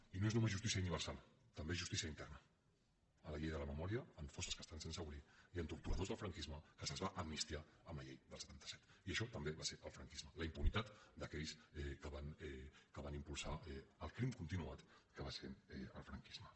i no és només justícia universal també és justícia interna en la llei de la memòria en fosses que estan sense obrir i en torturadors del franquisme als quals es va amnistiar amb la llei del setanta set i això també va ser el franquisme la impunitat d’aquells que van impulsar el crim continuat que va ser el franquisme